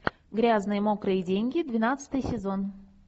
грязные мокрые деньги двенадцатый сезон